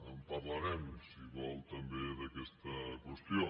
en parlarem si ho vol també d’aquesta qüestió